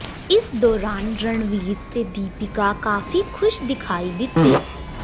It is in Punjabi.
ਇਸ ਦੌਰਾਨ ਰਣਵੀਰ ਤੇ ਦੀਪਿਕਾ ਕਾਫੀ ਖੁਸ਼ ਦਿਖਾਈ ਦਿੱਤੇ